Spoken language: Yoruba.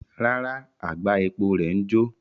Rara, agba epo rẹ ǹ jo